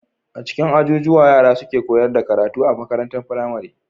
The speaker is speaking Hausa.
A cikin ajujuwa yara suke koyar da karatu a makarantar firamare